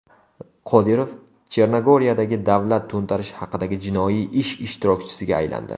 Qodirov Chernogoriyadagi davlat to‘ntarishi haqidagi jinoiy ish ishtirokchisiga aylandi.